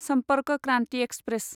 Sampark Kranti express